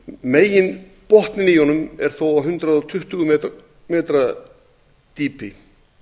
honum er þó á hundrað tuttugu metra dýpi